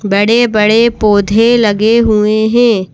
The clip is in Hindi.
बड़े-बड़े पौधे लगे हुए हैं।